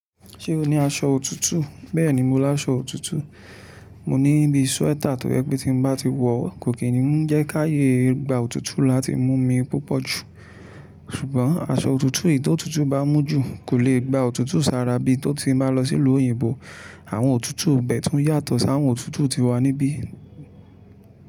Ṣé o ní aṣọ òtútù? Bẹ́ẹ̀ni mo lá aṣọ òtútù. Mo ní bíi sweater tó jẹ pé tí mo bá ti wọ̀ kò kí ń jẹ́ ká ye gba òtútù láti mú mi púpọ̀ jù. Ṣùgbọ́n aṣọ òtútù yí tó òtútù bá mú jù kò lè gba òtútù sára bí tó ti bá lọ sí ìlú òyìnbó. Àwọn òtútù ibẹ̀ tún yàtọ̀ sí àwọn òtútù ti wà níbí.